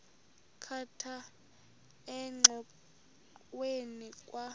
khatha engxoweni kwa